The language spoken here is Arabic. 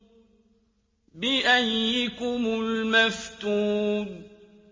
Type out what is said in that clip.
بِأَييِّكُمُ الْمَفْتُونُ